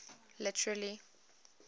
literary